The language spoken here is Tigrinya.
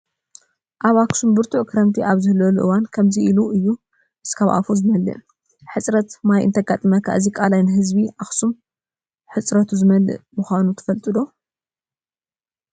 ኣብ ኣኽሱም ብርቱዕ ክረምቲ ኣብ ዝህልወሉ እዋን ከምዚ ኢሉ እዩ እስካብ ኣፉ ዝመልእ፡፡ ሕፅረት ማይ እንተጋጥም እዚ ቀላይ ንህዝቢ ኣኽሱም ህፅረቱ ዝመልእ ምዃኑ ትፈልጡ ዶ?